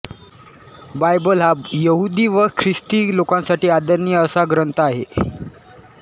Bible हा यहुदी व ख्रिस्ती लोकांसाठी आदरणीय असा ग्रंथ आहे